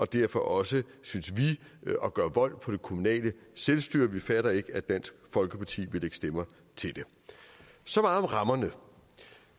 derfor også synes vi at gøre vold på det kommunale selvstyre vi fatter ikke at dansk folkeparti vil lægge stemmer til det så meget om rammerne